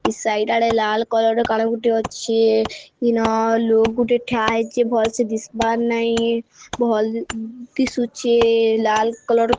ଏଇ ସାଇଡ ଆଡେ ଲାଲ୍ କଲର୍ ର କଳ ଗୋଟେ ଅଛି ଇନ ଲୁକ୍ ଗୁଟେ ଠା ହେଇଚି ଭଲସେ ଦିସ୍ ବାର ନାଇ ଭଲ ଦିସୁଚି ଲାଲ୍ କଲର୍ --